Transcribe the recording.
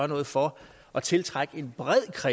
noget for at tiltrække